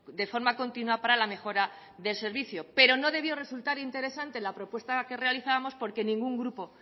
de forma continua para la mejora del servicio pero no debió resultar interesante la propuesta que realizábamos porque ningún grupo